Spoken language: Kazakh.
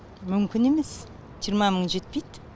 мүмкін емес жиырма мың жетпейді